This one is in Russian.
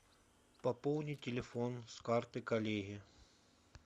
пополни телефон с карты коллеги